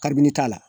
Kabini t'a la